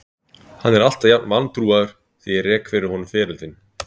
Hann er alltaf jafn vantrúaður þegar ég rek fyrir honum feril þinn.